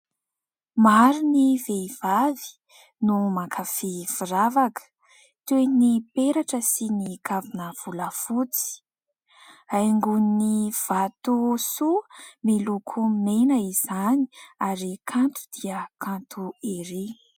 Maro ny vehivavy no mankafy firavaka toy ny peratra sy ny kavina volafotsy. Haingoin'ny vatosoa miloko mena izany, ary kanto dia kanto erỳ !